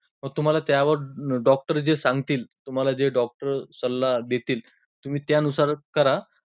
मग त्यावर तुम्हांला doctor जे सांगतील, तुम्हांला जे doctor सल्ला देतील, तुम्ही त्यानुसारच करा.